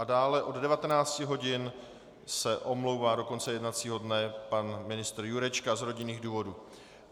A dále od 19 hodin se omlouvá do konce jednacího dne pan ministr Jurečka z rodinných důvodů.